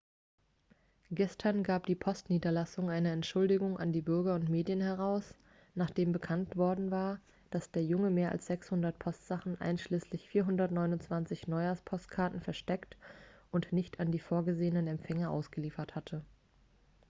gestern gab die postniederlassung eine entschuldigung an die bürger und medien heraus nachdem bekannt geworden war dass der junge mehr als 600 postsachen einschließlich 429 neujahrs-postkarten versteckt und nicht an die vorgesehenen empfänger ausgeliefert hatte